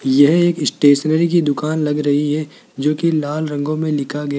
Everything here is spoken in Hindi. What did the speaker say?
यह एक स्टेशनरी की दुकान लग रही है जो की लाल रंगों में लिखा गया--